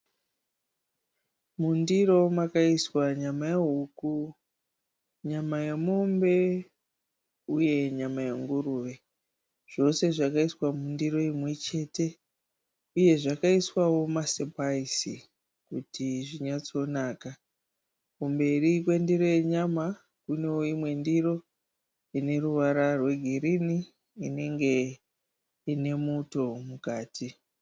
Mundiro makaiswa nyama yehuku ,nyama yemombe uye nyama yenguruve .Zvose zvakaiswa mundiri imwe chete uye zvakaiswawo masipaisi kuti zvinyatsonaka . kumberi kwendiro yenyama kune imwe ndiro ine ruvara rwegirini inenge inemuto mukati.